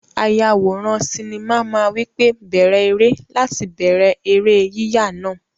Ayàwòrán sinimá máa wí pé "bẹ̀rẹ̀ eré" láti bẹ̀rẹ̀ eré yíyà náà.